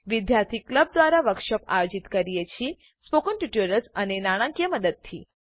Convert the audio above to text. વિદ્યાર્થી ક્લબ દ્વારા વર્કશોપ આયોજિત કરીએ છે સ્પોકન ટ્યુટોરિયલ્સ અને નાણાકીય મદદથી